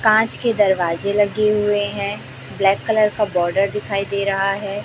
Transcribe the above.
कांच के दरवाजे लगे हुए हैं ब्लैक कलर का बॉर्डर दिखाई दे रहा है।